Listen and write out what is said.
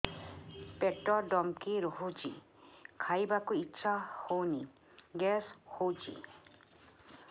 ପେଟ ଢିମିକି ରହୁଛି ଖାଇବାକୁ ଇଛା ହଉନି ଗ୍ୟାସ ହଉଚି